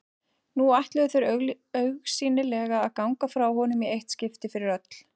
Nú ætluðu þeir augsýnilega að ganga frá honum í eitt skipti fyrir öll.